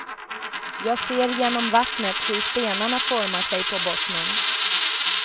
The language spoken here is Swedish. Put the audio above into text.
Jag ser genom vattnet hur stenarna formar sig på bottnen.